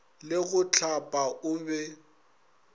le go hlapa o be